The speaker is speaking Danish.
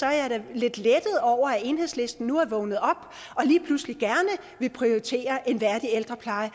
jeg da lidt lettet over at enhedslisten nu er vågnet op og lige pludselig gerne vil prioritere en værdig ældrepleje